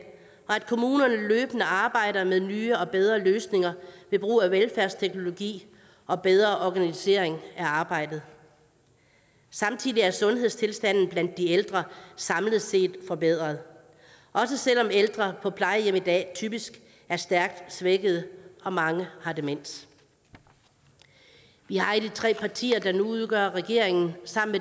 og arbejder med nye og bedre løsninger ved brug af velfærdsteknologi og bedre organisering af arbejdet samtidig er sundhedstilstanden blandt de ældre samlet set forbedret også selv om ældre på plejehjem i dag typisk er stærkt svækkede og mange har demens vi har i de tre partier der nu udgør regeringen sammen